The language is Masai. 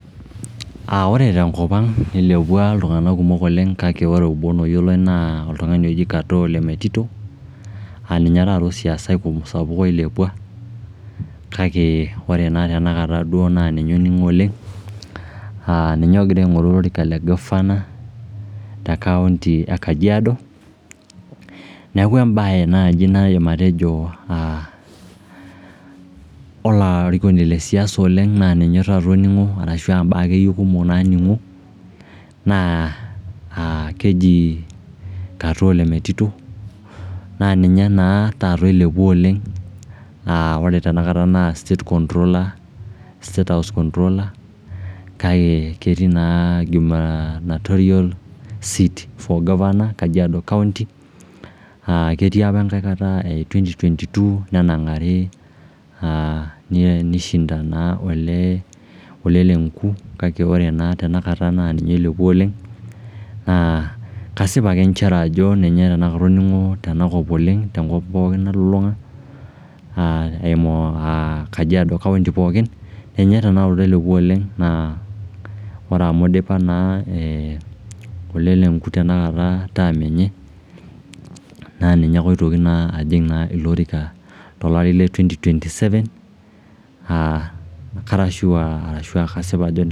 Ore tenkopang ilepwa iltung'anak kumok oleng kake ore obo loyioloi naa oltung'ani oji Katoo Ole metito aa ninye taata osiasai oilepwa kake ore naa tenakata duo naa ninye oning'o oleng', ninye ogira aing'oru olorika le governor te county e Kajiado. Neeku embae naaji naidim atejo olarikoni le siasa oleng naa ninye taata oning'o ashu mbaak akeyie kumok naaning'o naa keji Katoo Ole metito, naa ninye naa taata oilepwa oleng. Naa ore tenakata naa state controller, state house controller kake ketii naa gubernatorial seat for governor Kajiado County. Ketii opa enkae kata, 2022 nenang'ari aa nishinda naa Ole lenku kake ore naa tenakata naa ninye oilepwa oleng naa kasip ake nchere ajo ninye tenakata oning'o twnakop oleng, tenkop pookin nalulung'a aa, euma Kajiado County pookin, ninye tenakata oilepwa oleng naa ore amu idipa naa Ole lenku tenakata term enye naa ninyebake oitoki naa ajing ilo orika tolari le 2027 aa kara sure arashu kasip ajo